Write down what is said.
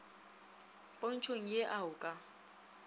pontšhong ye a o ka